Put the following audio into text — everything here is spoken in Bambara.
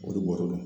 O de bɔr'u la